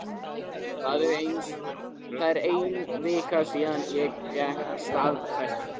Það er ein vika síðan ég fékk staðfestingu.